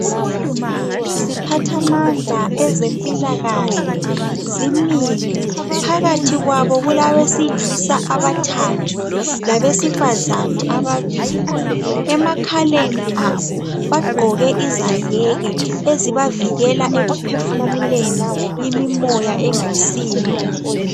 Iziphathamandla ezempilakahle zimile, phakathi kwabo kulabesilisa abathathu, labesifazana ababili. Emakhaleni abo bagqoke izayeke ezibavikela ekuphefumuleni imimoya engayisiyo.